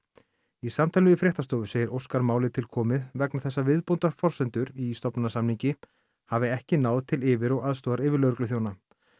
í samtali við fréttastofu segir Óskar málið til komið vegna þess að viðbótarforsendur í stofnanasamningi hafi ekki náð til yfir og aðstoðaryfirlögregluþjóna